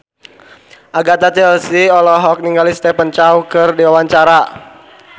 Agatha Chelsea olohok ningali Stephen Chow keur diwawancara